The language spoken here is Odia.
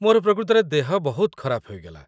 ମୋର ପ୍ରକୃତରେ ଦେହ ବହୁତ ଖରାପ ହୋଇଗଲା